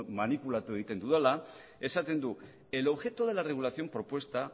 manipulatu egiten dudala esaten du el objeto de la regulación propuesta